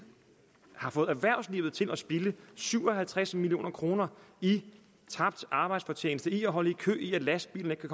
har fået erhvervslivet til at spilde syv og halvtreds million kroner i tabt arbejdsfortjeneste ved at holde i kø ved at lastbilen ikke